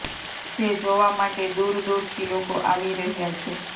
જે જોવા માટે દૂર દૂરથી લોકો આવી રહ્યા છે